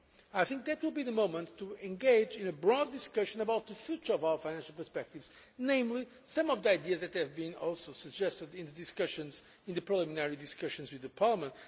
September. I think that will be the moment to engage in a broad discussion about the future of our financial perspectives, namely some of the ideas that have also been suggested in the preliminary discussions with the Parliament.